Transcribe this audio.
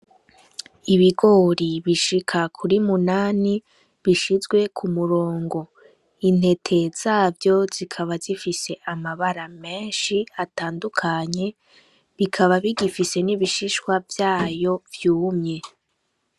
Ibigori bishika kuri munani bishizwe ku murongo intete zavyo zikaba zifise amabara menshi atandukanye bikaba bigifise n'ibishishwa vyayo vyumye.